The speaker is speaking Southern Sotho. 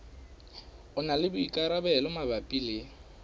na le boikarabelo mabapi le